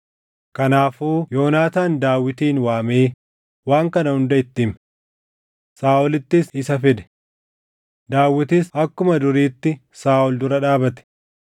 Kanaafuu Yoonaataan Daawitin waamee waan kana hunda itti hime. Saaʼolittis isa fide; Daawitis akkuma duriitti Saaʼol dura dhaabate.